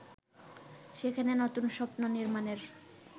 সেখানে নতুন স্বপ্ন নির্মাণের